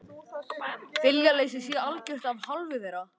Viljaleysið sé algjört af hálfu þeirra